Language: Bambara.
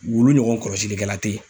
Wulu ɲɔgɔn kɔlɔsilikɛla te ye